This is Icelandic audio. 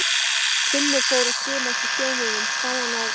Þegar Finnur fór að skima eftir þjóninum sá hann að